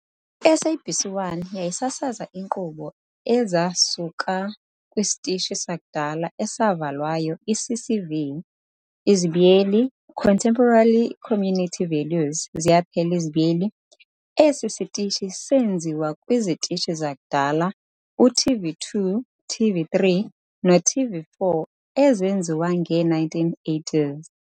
I-SABC 1 yayisasaza inkqubo ezasuka kwisitishi sakudala esavalwayo i-CCV, Contemporary Community Values, esi sitishi senziwa kwizitishi zakudala u-TV2, TV3 no TV4 ezenziwa nge1980s.